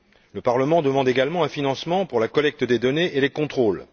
Le Parlement demande également un financement pour la collecte des données et les contrôles.